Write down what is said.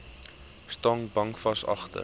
staan bankvas agter